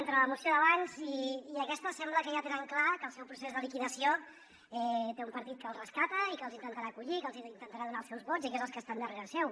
entre la moció d’abans i aquesta sembla que ja tenen clar que el seu procés de liquidació té un partit que els rescata i que els intentarà acollir que els intentarà donar els seus vots i que són els que estan darrere seu